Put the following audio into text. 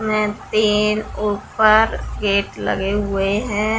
इसमे तीन ऊपर गेट लगे हुए है।